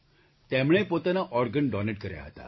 તેમણે પોતાનાં organ donate કર્યાં હતાં